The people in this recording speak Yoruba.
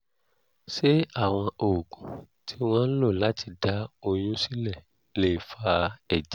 ṣé àwọn oògùn tí wọ́n ń lò láti dá oyún sílẹ̀ lè fa ẹ̀jẹ̀?